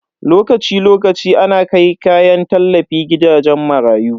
Lokaci lokaci ana kai kayan tallafi gidajen marayu.